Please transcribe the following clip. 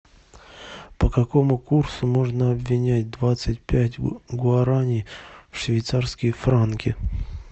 по какому курсу можно обменять двадцать пять гуарани в швейцарские франки